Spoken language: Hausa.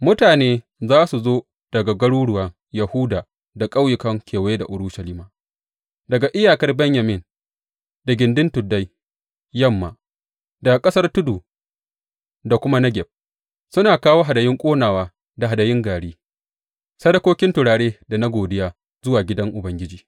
Mutane za su zo daga garuruwan Yahuda da ƙauyukan kewaye da Urushalima, daga iyakar Benyamin da gindin tuddan yamma, daga ƙasar tudu da kuma Negeb, suna kawo hadayun ƙonawa da hadayun gari, sadakokin turare da na godiya zuwa gidan Ubangiji.